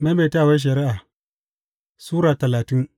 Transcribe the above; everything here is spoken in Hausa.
Maimaitawar Shari’a Sura talatin